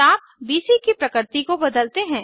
चाप बीसी की प्रकृति को बदलते हैं